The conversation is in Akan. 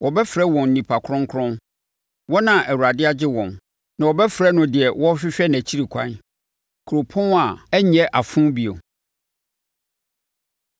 Wɔbɛfrɛ wɔn Nnipa Kronkron, wɔn a Awurade Agye Wɔn; na wɔbɛfrɛ wo Deɛ Wɔrehwehwɛ Nʼakyiri Ɛkwan, Kuropɔn a Ɛrenyɛ Afo Bio.